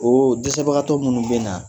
Oooo jɛsɛbagatɔw minnu bɛ na